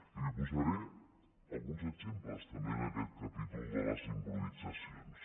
i li posaré alguns exemples també en aquest capítol de les improvisacions